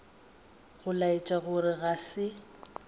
go laetša gore ga se